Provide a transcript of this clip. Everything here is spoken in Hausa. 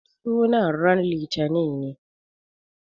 Sunan ranan litinin ne.